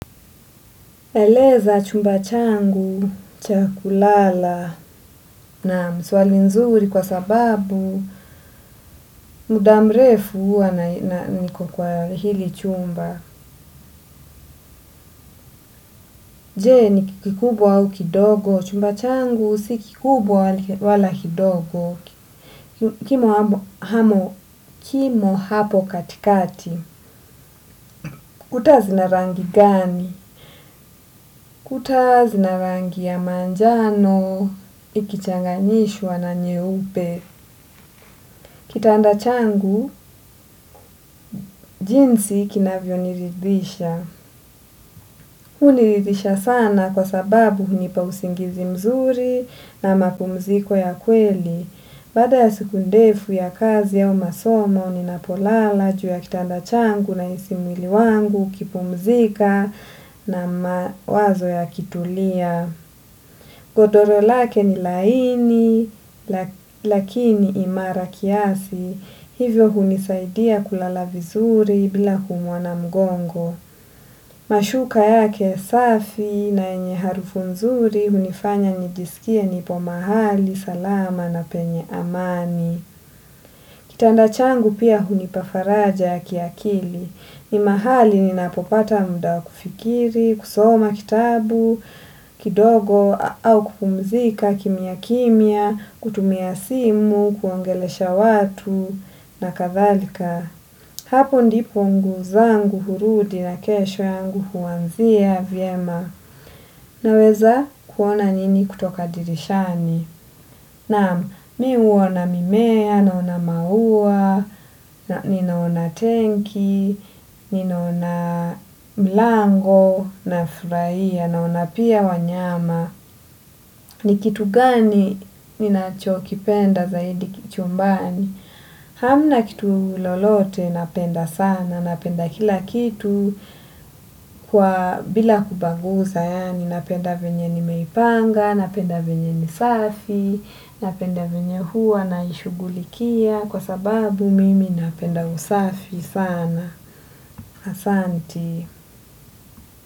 Eleza chumba changu, cha kulala, naam swali nzuri kwa sababu, muda mrefu huwa na niko kwa hili chumba. Je ni kikubwa au kidogo, chumba changu si kikubwa wala kidogo, kimo hapo katikati. Kuta zina rangi gani? Kuta zina rangi ya manjano ikichanganyishwa na nyeupe. Kitanda changu, jinsi kinavyoniridhisha. Huniridhisha sana kwa sababu hunipa usingizi mzuri na mapumziko ya kweli. Baada ya siku ndefu ya kazi au masoma, ninapolala juu ya kitanda changu nahisi mwili wangu, ukipumzika na mawazo yakitulia. Godoro lake ni laini, lakini imara kiasi, hivyo hunisaidia kulala vizuri bila kuumwa na mgongo. Mashuka yake safi na yenye harufu mzuri hunifanya nijiskie nipo mahali, salama na penye amani. Kitanda changu pia hunipa faraja ya kiakili. Ni mahali ninapopata muda wa kufikiri, kusoma kitabu, kidogo, au kupumzika kimya kimya, kutumia simu, kuongelesha watu, na kadhalika. Hapo ndipo nguvu zangu hurudi na kesho yangu huanzia vyema. Naweza kuona nini kutoka dirishani. Naam, mi huona mimea, naona maua, ninaona tenki, ninaona mlango, nafurahia, naona pia wanyama. Ni kitu gani ninachokipenda zaidi chumbani? Hamna kitu lolote napenda sana, napenda kila kitu kwa bila kubaguza yaani napenda venye nimeipanga, napenda venye ni safi, napenda venye huwa naishughulikia kwa sababu mimi napenda usafi sana, asanti.